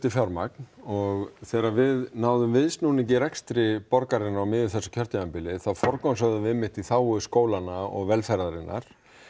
fjármagn og þegar við náðum viðsnúningi í rekstri borgarinnar á miðju þessu kjörtímabili þá forgangsröðuðum við einmitt í þágu skólana og velferðarinnar